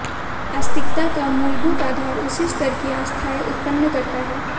आस्तिकता का मूलभूत आधार उसी स्तर की आस्थाएं उत्पन्न करना है